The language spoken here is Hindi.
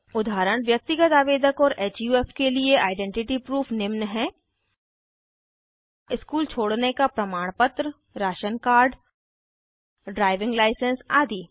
उदाहरण व्यक्तिगत आवेदक और हुफ के लिए आइडेंटिटी प्रूफ निम्न हैं स्कूल छोडने का प्रमाणपत्र राशन कार्ड ड्राइविंग लाइसेंस आदि